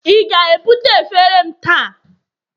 ị ga-ebute efere m taa?